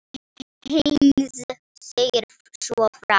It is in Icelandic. Heinz segir svo frá: